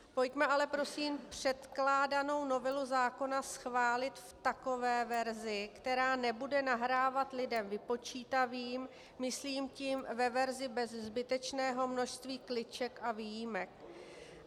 Pojďme ale prosím předkládanou novelu zákona schválit v takové verzi, která nebude nahrávat lidem vypočítavým, myslím tím ve verzi bez zbytečného množství kliček a výjimek.